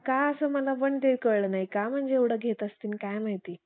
पण का असं मला पण काही कळलं नाही का म्हणजे एवढं घेत असतील काय माहिती?